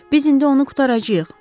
Biz indi onu qurtaracağıq.